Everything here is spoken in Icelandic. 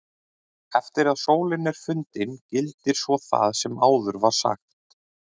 Eftir að sólin er fundin gildir svo það sem áður var sagt.